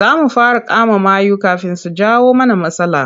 Za mu fara kama mayu kafin su jawo mana matsala.